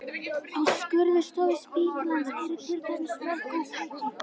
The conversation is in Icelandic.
Á skurðstofu spítalans eru til dæmis mörg góð tæki.